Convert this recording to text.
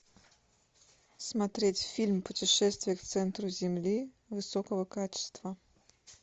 смотреть фильм путешествие к центру земли высокого качества